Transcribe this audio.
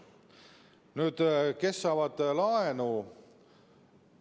Nüüd, kes saavad laenu?